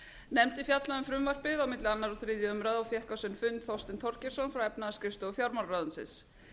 nefndin fjallaði um frumvarpið á milli annars og þriðju umræðu og fékk á sinn fund þorstein þorgeirsson frá efnahagsskrifstofu fjármálaráðuneytisins